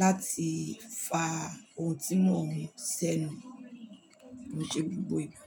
láti fa ohun tí mo ń ṣẹ́nu ko n ṣe gbogbo ìgbà.